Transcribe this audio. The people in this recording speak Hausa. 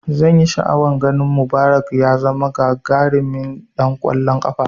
Zanyi sha'awan ganin Mubarak ya zama gagarimin ɗan kwallon kafa